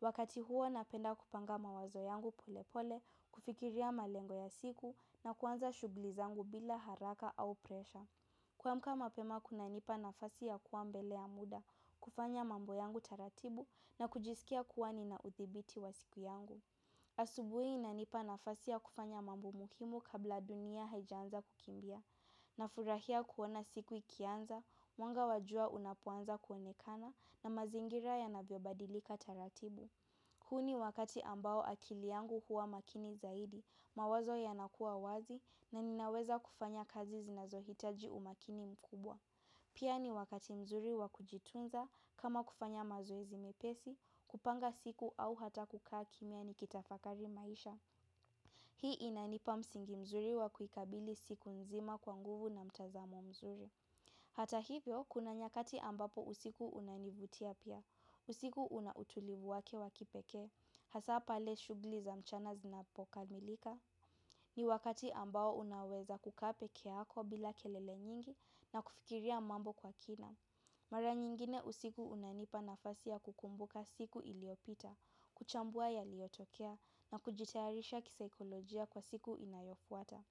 Wakati huo napenda kupanga mawazo yangu pole pole, kufikiria malengo ya siku na kuanza shughuli zangu bila haraka au presha. Kuamka mapema kunanipa nafasi ya kuwa mbele ya muda, kufanya mambo yangu taratibu na kujisikia kuwa nina udhibiti wa siku yangu. Asubuhi inanipa nafasi ya kufanya mambo muhimu kabla dunia haijaanza kukimbia, nafurahia kuona siku ikianza, mwanga wa jua unapoanza kuonekana na mazingira yanavyobadilika taratibu. Huu ni wakati ambao akili yangu huwa makini zaidi, mawazo yanakua wazi na ninaweza kufanya kazi zinazohitaji umakini mkubwa. Pia ni wakati mzuri wa kujitunza kama kufanya mazoezi mepesi, kupanga siku au hata kukaa kimya nikitafakari maisha. Hii inanipa msingi mzuri wa kuikabili siku nzima kwa nguvu na mtazamo mzuri. Hata hivyo, kuna nyakati ambapo usiku unanivutia pia, usiku una utulivu wake wa kipekee, hasa pale shughuli za mchana zinapokamilika, ni wakati ambao unaweza kukaa pekee yako bila kelele nyingi na kufikiria mambo kwa kina. Mara nyingine usiku unanipa nafasi ya kukumbuka siku iliopita, kuchambua yaliyotokea na kujitayarisha kisaikolojia kwa siku inayofuata.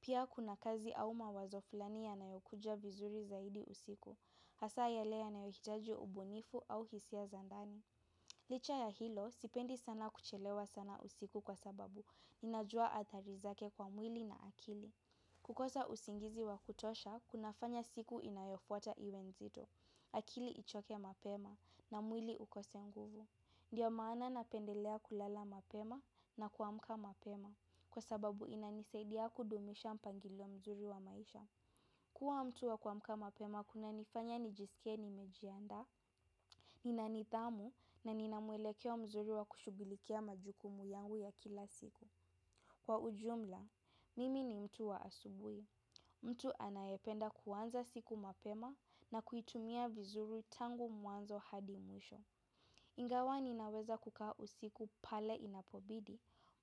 Pia kuna kazi au mawazo flani yanayokuja vizuri zaidi usiku, hasa yale yanayohitaji ubunifu au hisia za ndani. Licha ya hilo, sipendi sana kuchelewa sana usiku kwa sababu, ninajua athari zake kwa mwili na akili. Kukosa usingizi wa kutosha, kunafanya siku inayofuata iwe nzito. Akili ichoke mapema na mwili ukose nguvu. Ndiyo maana napendelea kulala mapema na kuamka mapema kwa sababu inanisaidia kudumisha mpangilio mzuri wa maisha. Kua mtu wa kuamka mapema kunanifanya nijisike nimejiandaa. Nina nidhamu na nina mwelekeo mzuri wa kushughulikia majukumu yangu ya kila siku. Kwa ujumla, mimi ni mtu wa asubuhi. Mtu anayependa kuanza siku mapema na kuitumia vizuri tangu mwanzo hadi mwisho. Ingawa ninaweza kukaa usiku pale inapobidi,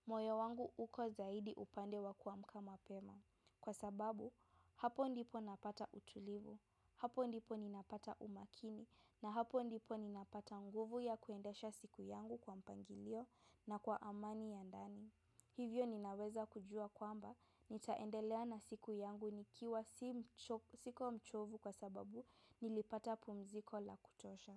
moyo wangu uko zaidi upande wa kuamka mapema. Kwa sababu, hapo ndipo napata utulivu, hapo ndipo ninapata umakini, na hapo ndipo ninapata nguvu ya kuendesha siku yangu kwa mpangilio na kwa amani ya ndani. Hivyo ninaweza kujua kwamba nitaendelea na siku yangu nikiwa siko mchovu kwa sababu nilipata pumziko la kutosha.